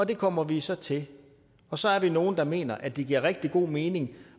det kommer vi så til og så er vi nogle der mener at det giver rigtig god mening